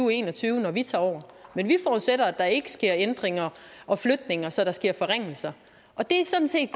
og en og tyve når vi tager over men vi forudsætter at der ikke sker ændringer og flytninger så der sker forringelser og det er sådan set